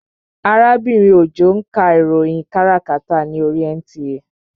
Arábìnrin Òjó ń ka ìròyìn káràkátà ní oríi NTA